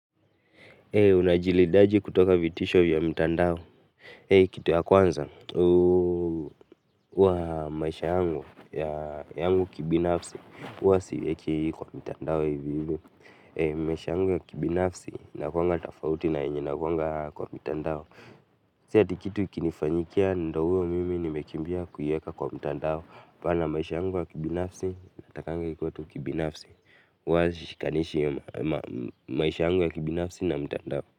Unajilindaje kutoka vitisho vya mtandao? Kitu ya kwanza, huwa maisha yangu, ya yangu kibinafsi, huwa siweki kwa mtandao hivi hivi. Maisha yangu ya kibinafsi, inakuwanga tofauti na yenye inakuwanga kwa mitandao. Si ati kitu ikinifanyikia ndiyo huyo mimi nimekimbia kuiweka kwa mtandao. Hapana maisha yangu ya kibinafsi, natakanga ikuwe tu kibinafsi. Huwa sishikanishi maisha yangu ya kibinafsi na mtandao.